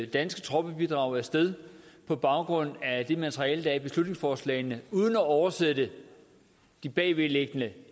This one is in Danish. danske troppebidrag af sted på baggrund af det materiale der er i beslutningsforslagene uden at oversætte de bagvedliggende